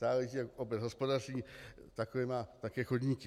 Záleží, jak obec hospodaří, takové má také chodníky.